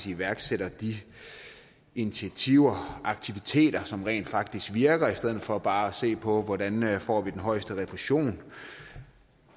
iværksætter de initiativer og aktiviteter som rent faktisk virker i stedet for bare at se på hvordan man får den højeste refusion